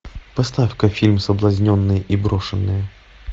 поставь ка фильм соблазненные и брошенные